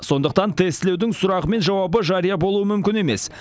сондықтан тестілеудің сұрағы мен жауабы жария болуы мүмкін емес